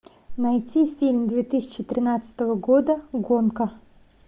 найти фильм две тысячи тринадцатого года гонка